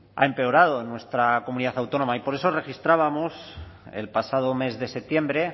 ha empeorado en nuestra comunidad autónoma y por eso registrábamos el pasado mes de septiembre